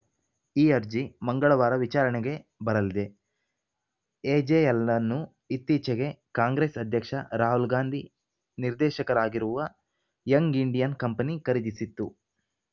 ಈ ಅರ್ಜಿ ಮಂಗಳವಾರ ವಿಚಾರಣೆಗೆ ಬರಲಿದೆ ಎ ಜೆಎಲ್‌ ಅನ್ನು ಇತ್ತೀಚೆಗೆ ಕಾಂಗ್ರೆಸ್‌ ಅಧ್ಯಕ್ಷ ರಾಹುಲ್‌ ಗಾಂಧಿ ನಿರ್ದೇಶಕರಾಗಿರುವ ಯಂಗ್‌ ಇಂಡಿಯನ್‌ ಕಂಪನಿ ಖರೀದಿಸಿತ್ತು